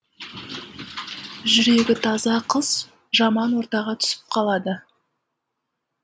жүрегі таза қыз жаман ортаға түсіп қалады